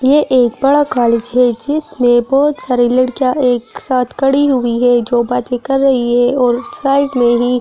ये एक बड़ा कॉलेज है जिसमें बहुत सारी लड़कियां एक साथ खड़ी हुई है जो बातें कर रही है और साइड में ही--